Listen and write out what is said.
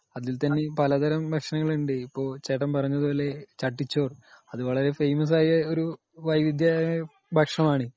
അതിൽ തന്നെ പലതരം ഭക്ഷണങ്ങൾ ഉണ്ട് .ഇപ്പോ ചേട്ടൻ പറഞ്ഞതുപോലെ ,ചട്ടിച്ചോർ .അത് വളരെ ഫേമസ്‌ ആയ വൈവിധ്യമാര്ന്ന ഒരു ഭക്ഷണം ആണ് .